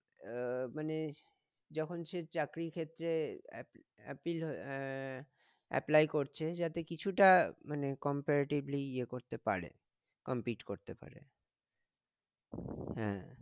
আহ মানে যখন সে চাকরির ক্ষেত্রে অ্যাপ অ্যাপিল হয়ে আহ অ্যাপ্লাই করছে যাতে কিছুটা মানে comparatively ইয়ে করতে পারে compete করতে পারে হ্যাঁ